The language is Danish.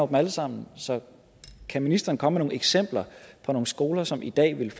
dem alle sammen så kan ministeren komme med nogle eksempler på nogle skoler som i dag ville